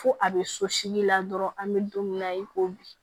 Fo a bɛ sosilila dɔrɔn an bɛ don min na i ko bi